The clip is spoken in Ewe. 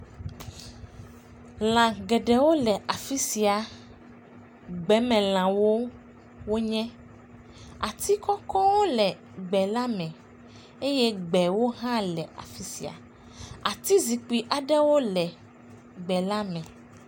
Lã geɖewo le afi sia, gbeme lã wonye. Ati kɔkɔwo aɖe le gbe la meeye gbe hã le afisia. Ati zikpui aɖewo hã le gbe la me.